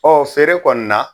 feere kɔni na